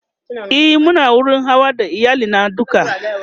e Muna wurin Hawa da iyali na duka